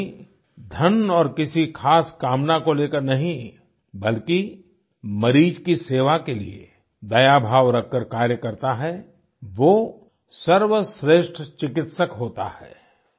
यानी धन और किसी ख़ास कामना को लेकर नहीं बल्कि मरीज की सेवा के लिए दया भाव रखकर कार्य करता है वो सर्वश्रेष्ठ चिकित्सक होता है